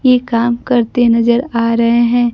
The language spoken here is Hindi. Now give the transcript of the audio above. ई काम करते नजर आ रहे हैं।